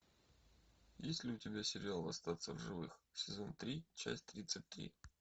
есть ли у тебя сериал остаться в живых сезон три часть тридцать три